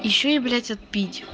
ещё и блять отпить